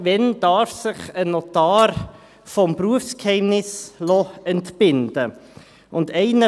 Wann darf sich ein Notar vom Berufsgeheimnis entbinden lassen?